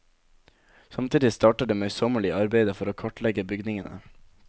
Samtidig starter det møysommelige arbeidet for å kartlegge bygningene.